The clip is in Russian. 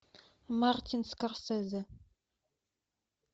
мартин скорсезе